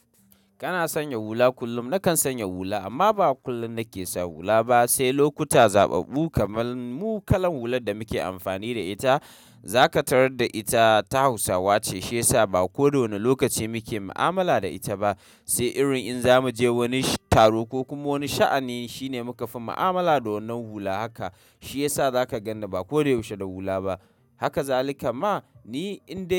Kana sanya hula kullum. Nakan sanya hula amma ba kullum nake sa hula ba, sai lokuta zaɓaɓɓu. Kamar mu kalan hular da muke amfani da ita, za ka tarar da ita ta Hausawa ce, shi ya sa ba koda wane lokaci muke mu'amala da ita ba. Sai irin in za mu je wani taro ko kuma wani sha'ani shine muka fi mu'amala da wannan hula haka. Shi ya sa za ka ganni ba koda yaushe da hula ba. Haka zalika ma ni in da.